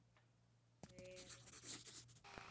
Þau eru hljóð um stund.